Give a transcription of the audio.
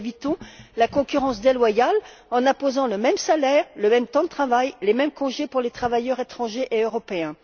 Nous évitons la concurrence déloyale en imposant le même salaire, le même temps de travail, les mêmes congés pour les travailleurs étrangers et européens.